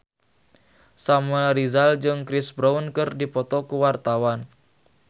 Samuel Rizal jeung Chris Brown keur dipoto ku wartawan